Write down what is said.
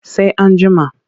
Sai an jima.